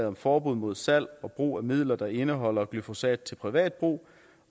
om forbud mod salg og brug af midler der indeholder glyfosat til privat brug